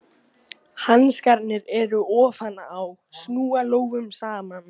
Hanskarnir eru ofan á, snúa lófum saman.